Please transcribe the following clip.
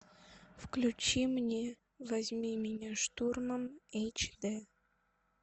включи мне возьми меня штурмом эйч дэ